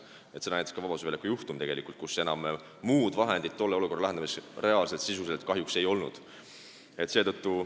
Seda näitas ka see Vabaduse väljaku juhtum, kui muud vahendit tolle olukorra lahendamiseks reaalselt sisuliselt kahjuks enam ei olnud.